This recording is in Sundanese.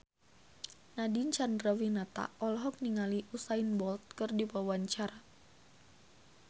Nadine Chandrawinata olohok ningali Usain Bolt keur diwawancara